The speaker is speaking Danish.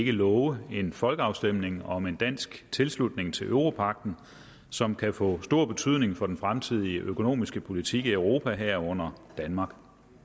ikke love en folkeafstemning om en dansk tilslutning til europagten som kan få stor betydning for den fremtidige økonomiske politik i europa herunder danmark